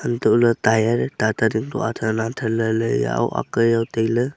antoh le tire tata ding to athan athan lahle ak jao taile.